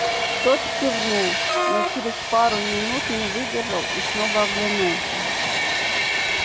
тот кивнул но через пару минут не выдержал и снова оглянулся